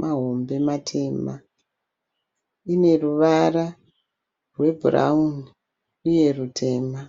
mahombe matema, ine ruvara rwebhurauni uye rwutema.